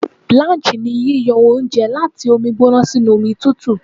Blanch ni yíyọ oúnjẹ láti omi gbóná sínú omi tùtù.